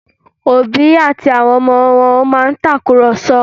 Òbí àti àwọn ọmọ wọn máa ń tàkùrọ̀sọ